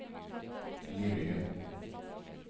Limingen